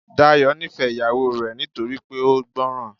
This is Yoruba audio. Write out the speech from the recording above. Dayọ̀ nífẹ̀ẹ́ ìyàwó rẹ̀ nítorí pé ó gbọ́ran.